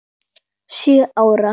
Sjö ára.